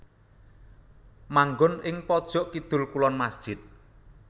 Manggon ing pojok kidul kulon masjid